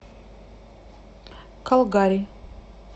калгари